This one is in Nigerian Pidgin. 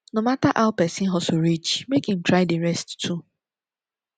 no mata ow pesin hustle reach mek him try dey rest too